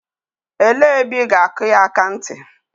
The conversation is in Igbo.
Elee ebe ị ga-akụ ya akanti?